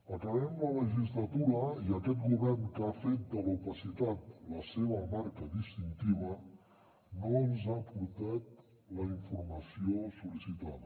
acabem la legislatura i aquest govern que ha fet de l’opacitat la seva marca distintiva no ens ha aportat la informació sol·licitada